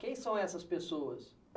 Quem são essas pessoas?